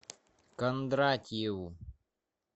кондратьеву